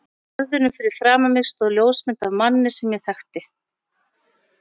borðinu fyrir framan mig stóð ljósmynd af manni sem ég þekkti.